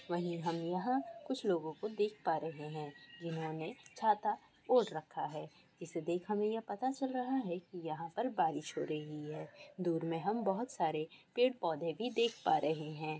वही हम यहाँ कुछ लोगों को देख पा रहे हैं जिन्होंने छाता ओढ़ रखा हैं इसे देख हमें यह पता चल रहा हैं कि यहाँ पर बारिश हो रही हैं दूर में हम बहुत सारे पेड़ पौधे भी देख पा रहे हैं।